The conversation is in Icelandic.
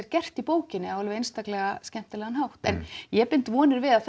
gert í bókinni á einstaklega skemmtilegan hátt en ég bind vonir við að